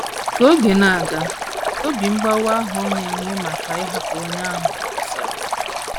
Ka oge na - aga, obi mgbawa ahụ ọ na - enwe maka ịhapụ onye ahụ kwụsịrị.